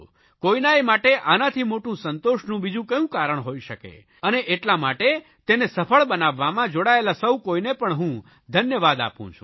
કોઇ પણ માટે આનાથી મોટું સંતોષનું બીજું કયું કારણ કોઇ શકે અને એટલા માટે તેને સફળ બનાવવામાં જોડાયેલા સૌ કોઇને પણ હું ધન્યવાદ આપું છું